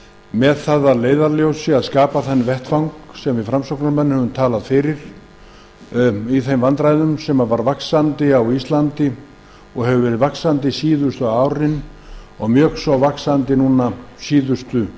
með það að leiðarljósi að skapa þann vettvang sem við framsóknarmenn höfum talað fyrir í þeim vandræðum sem hafa farið vaxandi síðustu árin og mjög svo núna síðustu